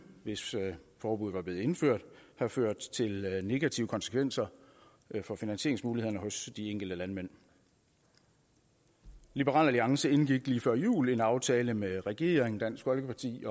hvis forbuddet var blevet indført have ført til negative konsekvenser for finansieringsmulighederne hos de enkelte landmænd liberal alliance indgik lige før jul en aftale med regeringen dansk folkeparti